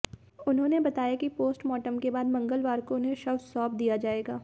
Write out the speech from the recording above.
उन्होंने बताया कि पोस्टमॉर्टम के बाद मंगलवार को उन्हें शव सौंप दिया जाएगा